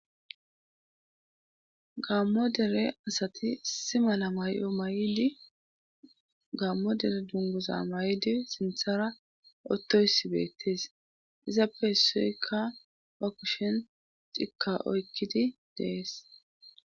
Gammo dere asati si mala may'o may'di gaammo dere dunguza may'di sinthara ottoysi beettees izappe hessuykka pakushen cikka oykkidi dees